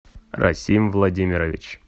расим владимирович